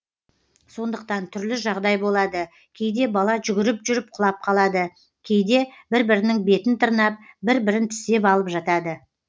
сондықтан түрлі жағдай болады кейде бала жүгіріп жүріп құлап қалады кейде бір бірінің бетін тырнап бір бірін тістеп алып жатады